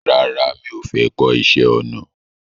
Rárá mi ò fẹ́ kọ́ iṣẹ́ ọnà